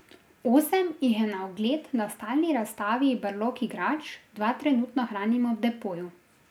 Osem jih je na ogled na stalni razstavi Brlog igrač, dva trenutno hranimo v depoju.